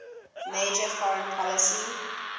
major foreign policy